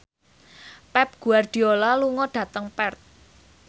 Pep Guardiola lunga dhateng Perth